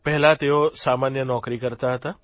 પહેલા તેઓ સામાન્ય નોકરી કરતા હતા